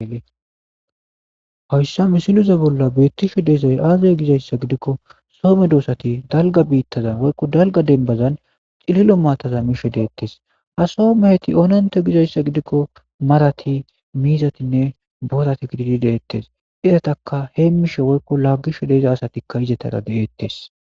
Hoyssa misiloze bolla beettishe deezay aazay gizayssa gidikko soome doosati dalga biittazan woykko dalga denbazan xililo maataza misho deettes a soomeheti oonante gizayssa gidikko marati miizatinne bootati gididi deettes izataka heemmishe woykko laaggisho deeza asatikka izetara deettes.